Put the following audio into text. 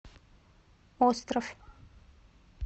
остров